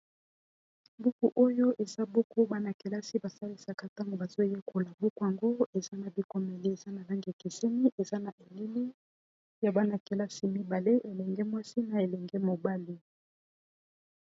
buku oyo eza buku bana-kelasi basalisaka ntango bazoyekola buku ango eza na bikomeli eza na lange kiseni eza na elili ya bana-kelasi mibale elenge mwasi na elenge mobali